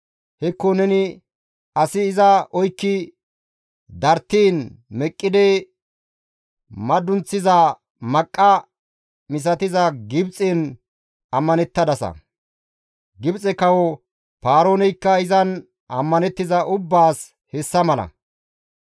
Hekko neni asi iza oykki darttiin meqqidi madunththiza maqqa misatiza Gibxen ammanettadasa; Gibxe kawo Paarooneykka izan ammanettiza ubbaas hessa mala.›